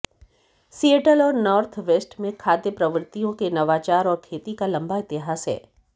Seattle और Northwest में खाद्य प्रवृत्तियों के नवाचार और खेती का लंबा इतिहास है